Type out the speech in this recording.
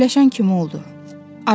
Keyləşən kimi oldu.